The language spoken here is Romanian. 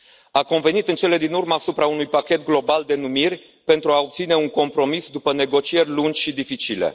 A convenit în cele din urmă asupra unui pachet global de numiri, pentru a obține un compromis după negocieri lungi și dificile.